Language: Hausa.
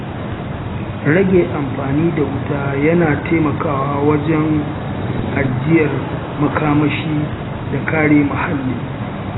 Rage amfani da wuta yana taimakawa wajen ajiyar makamashi da kare muhalli.